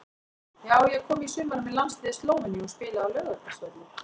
Já ég kom í sumar með landsliði Slóveníu og spilaði á Laugardalsvelli.